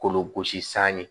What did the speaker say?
Kolo gosi san ye